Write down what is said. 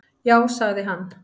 Já, sagði hann.